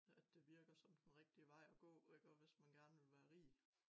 At det virker som den rigtigw vej at gå hvis man gerne vil være rig